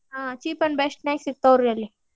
ಹ cheap and best ನ್ಯಾಗ್ ಸಿಗ್ತಾವ್ ರೀ ಅಲ್ಲೆ.